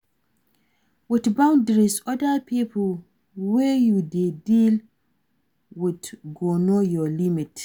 With boundaries oda pipo wey you dey deal with go know your limit